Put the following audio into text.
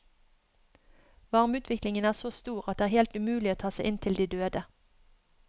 Varmeutviklingen er så stor at det er helt umulig å ta seg inn til de døde.